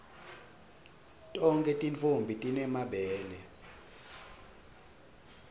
tonkhe tintfombi time mabele